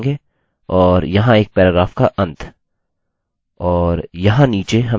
हम एक पैराग्राफ की शुरुआत रखेंगे और यहाँ एक पैराग्राफ का अंत